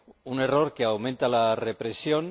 Un error que aumenta la represión